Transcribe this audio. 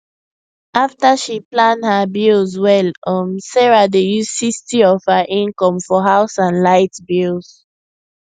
after she plan her bills well um sarah dey use 60 of her income for house and light bills